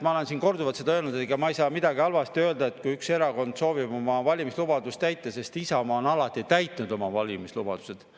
Ma olen siin korduvalt öelnud, et ega ma ei saa midagi halvasti öelda, kui üks erakond soovib oma valimislubadust täita, sest Isamaa on alati täitnud oma valimislubadused.